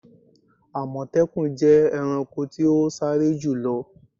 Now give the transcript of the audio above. Àmọ̀tẹ́kùn jẹ́ ẹranko ti o sáré jùlo.